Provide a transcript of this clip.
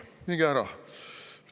Minge ära!